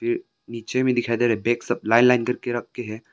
ये नीचे में दिखाई दे रहा है बेग सब लाइन लाइन करके रख के है।